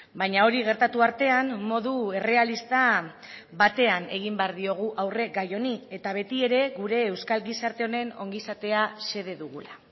baina hori gertatu artean modu errealista batean egin behar diogu aurre gai honi eta betiere gure euskal gizarte honen ongizatea xede dugula